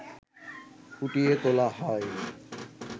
ফুটিয়ে তোলা হয়